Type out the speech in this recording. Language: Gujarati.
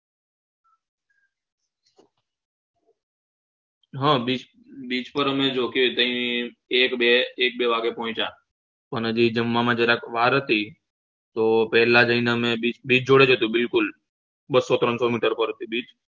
હઅ beach beach પર અમે એક બે એક બે વાગે પોહ્ચ્યા હજી જમવામાં જરાક વાર હતી તો પેલા જઈને અમે beach જોડે હતું બિલકુલ બસો ત્રણ સો મીટર પર હતું beach